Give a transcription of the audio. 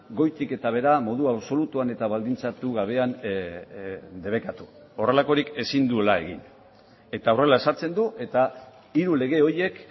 goitik eta behera modu absolutuan eta baldintzatu gabean debekatu horrelakorik ezin duela egin eta horrela ezartzen du eta hiru lege horiek